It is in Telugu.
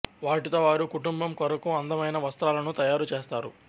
వాటితో వారు కుటుంబం కొరకు అందమైన వస్త్రాలను తయారు చేస్తారు